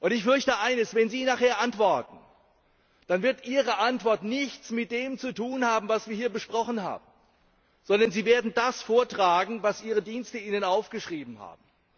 Ich fürchte eines Wenn Sie nachher antworten, dann werden Ihre Antworten nichts mit dem zu tun haben, was wir hier besprochen haben, sondern Sie werden das vortragen, was Ihre Dienste Ihnen aufgeschrieben haben.